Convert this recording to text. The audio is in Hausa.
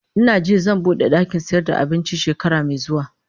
Ina jin zan bude dakin sayar da abinci shekara mai zuwa